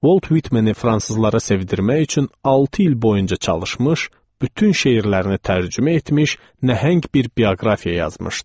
Volt Vitmeni fransızlara sevdirmək üçün altı il boyunca çalışmış, bütün şeirlərini tərcümə etmiş, nəhəng bir bioqrafiya yazmışdı.